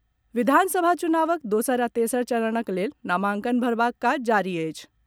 विधानसभा चुनावक दोसर आ तेसर चरणक लेल नामांकन भरबाक काज जारी अछि।